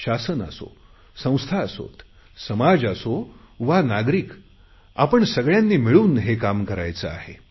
शासन असो संस्था असोत समाज असो वा नागरिक आपण सगळयांनी मिळून हे काम करायचे आहे